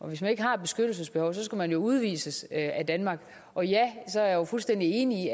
at hvis man ikke har et beskyttelsesbehov så skal man udvises af danmark og ja jeg er jo fuldstændig enig